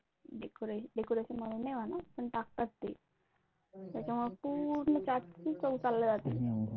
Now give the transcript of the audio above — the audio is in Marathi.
decoration म्हणून नाही म्हणा पण टाकतात ते, त्याच्यामुळे पूर्ण चाट ची चव चालली जाते.